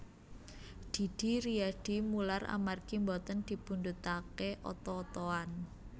Didi Riyadi mular amargi mboten dipundhutake oto otoan